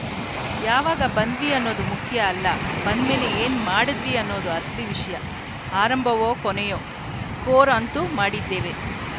ಯಾವಾಗ ಬಂದ್ವಿ ಅನ್ನೋದು ಮುಖ್ಯ ಅಲ್ಲ ಬಂದ್ಮೇಲೆ ಏನ್‌ ಮಾಡಿದ್ವಿ ಅನ್ನೋದು ಅಸಲಿ ವಿಷಯ ಆರಂಭವೋ ಕೊನೆಯ ಸ್ಕೋರ್‌ ಅಂತೂ ಮಾಡುತ್ತಿದ್ದೇವೆ